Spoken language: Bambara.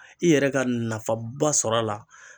I yɛrɛ ka nafaba sɔrɔ a la